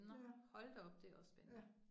Ja. Ja